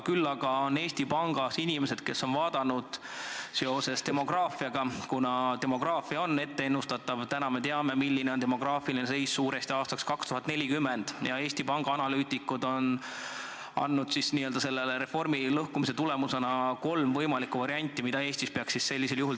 Küll aga on Eesti Pangas inimesed, analüütikud, kes on uurinud seoseid demograafiaga ja kuna demograafia on ennustatav – täna me teame, milline on laias laastus demograafiline seis aastaks 2040 –, siis on nad välja käinud kolm võimalikku sammu, mis selle reformi tõttu Eestis tuleks teha.